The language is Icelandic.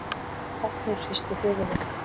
Árni hristi höfuðið.